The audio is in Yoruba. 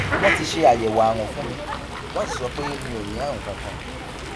wọn ti ṣe àyẹwò àrùn fún mi wọn sì sọ pé mi ò ní àrùn kankan